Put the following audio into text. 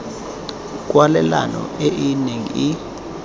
kwalelano e e neng e